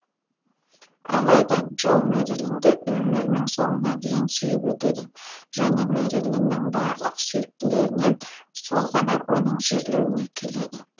алайда джо мэрилинді өмірінің соңына дейін сүйіп өтеді және мэрилиннің барлық сүйіктілерінен сол ғана оның жерлеуіне келеді